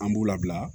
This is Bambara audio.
An b'u labila